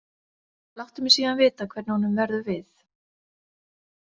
Láttu mig síðan vita hvernig honum verður við.